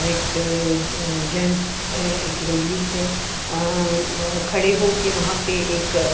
एक जेन्ट्स थ एक लेडीज है खड़े होके वहाँ पे एक--